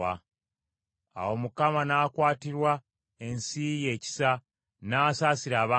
Awo Mukama n’akwatirwa ensi ye ekisa, n’asaasira abantu be.